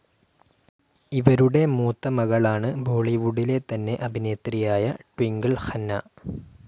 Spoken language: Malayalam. ഇവരുടെ മൂത്ത മകളാണ് ബോളിവുഡിലെ തന്നെ അഭിനേത്രിയായ ട്വിങ്കിൾ ഖന്ന.